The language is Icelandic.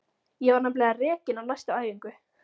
Ég var nefnilega rekin á næstu æfingu.